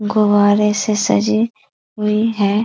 गुब्बारे से सजी हुई है।